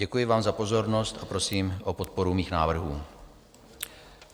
Děkuji vám za pozornost a prosím o podporu mých návrhů.